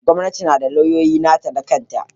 Gwamnati tana da lauyoyi na ta na kan ta.